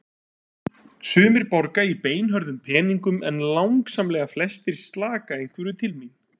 Sumir borga í beinhörðum peningum en langsamlega flestir slaka einhverju til mín.